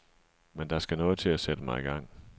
Men der skal noget til at sætte mig i gang.